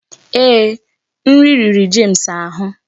Ee, nri riri James ahụ